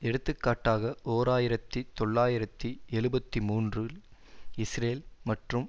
எடுத்துக்காட்டாக ஓர் ஆயிரத்தி தொள்ளாயிரத்தி எழுபத்து மூன்றில் இஸ்ரேல் மற்றும்